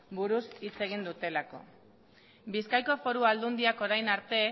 buruz hitz egin dutelako bizkaiko foru aldundiak orain arte